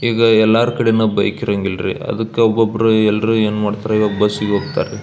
ಈಗ ಎಲ್ಲರ ಕಡೆನೂ ಬೈಕ್ ಇರಂಗಿಳ್ರಿ ಅದಕ್ಕ ಒಬ್ಬಬ್ಬರು ಎಲ್ರು ಏನ್ ಮಾಡ್ತಾರೆ ಬಸ್ಸಿಗೆ ಹೋಗ್ತಾರ ರೀ.